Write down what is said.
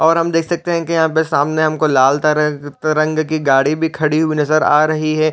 और हम देख सकते हैं कि यहाँ सामने हमको लाल तरग तरंग की गाड़ी भी खड़ी हुई नजर आ रही है।